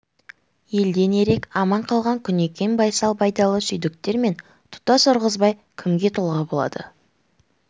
елден ерек аман қалған күнекең байсал байдалы сүйіндіктер мен тұтас ырғызбай кімге тұлға болады